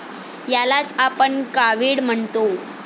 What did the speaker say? यालाच आपण कावीळ म्हणतो.